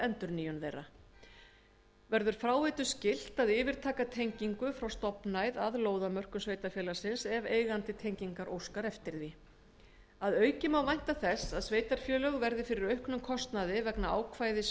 endurnýjun þeirra verður fráveitu skylt að yfirtaka tengingu frá stofnæð að lóðamörkum sveitarfélagsins ef eigandi tengingar óskar eftir því að auki má vænta þess að sveitarfélög verði fyrir auknum kostnaði vegna ákvæðis